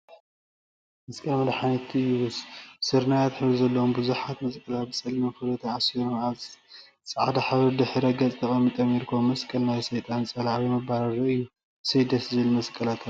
መስቀል መድሓኒትና እዩ፡፡ ስርናየታይ ሕብሪ ዘለዎም ቡዙሓት መስቀላት ብፀሊም ክሪ ተአሳሲሮም አብ ፃዕዳ ሕብሪ ድሕረ ገፅ ተቀሚጦም ይርከቡ፡፡ መስቀል ናይ ሰይጣን ፀላኢ/መባረሪ እዩ፡፡ እሰይ! ደስ ዝብሉ መስቀላት አለው፡፡